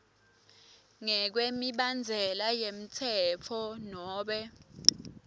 ngekwemibandzela yemtsetfo nobe